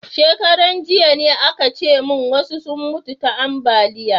Shekaran jiya ne a ka ce mun wasu sun mutu ta ambaliya